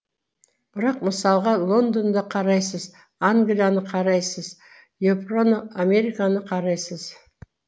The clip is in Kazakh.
бірақ мысалға лондонды қарайсыз англияны қарайсыз еуропаны американы қарайсыз